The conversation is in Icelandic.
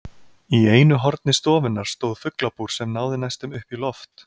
Í einu horni stofunnar stóð fuglabúr sem náði næstum upp í loft.